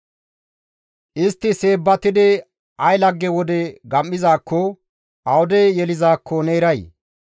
Istti seebbatidi ay lagge wode gam7izaakko awude yelizaakko ne eray?